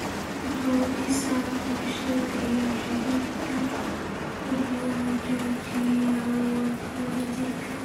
wuxuu dhisaa bulshada iyo xiriirka, wuxuuna xoojiyaa wadajirka.